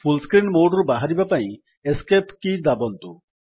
ଫୁଲ୍ screen mode ରୁ ବାହାରିବା ପାଇଁ ଏସ୍କେପ୍ କୀ ଦବାନ୍ତୁ